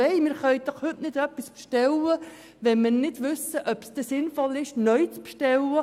Wir können doch heute nicht etwas bestellen, wenn wir nicht wissen, ob es sinnvoll ist, etwas Neues zu bestellen!